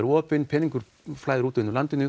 opið peningaflæði út úr landinu